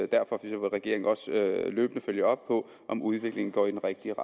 derfor vil regeringen også løbende følge op på om udviklingen går i den rigtige